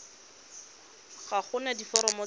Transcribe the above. ga go na diforomo tse